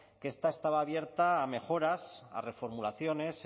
que esta estaba abierta a mejoras a reformulaciones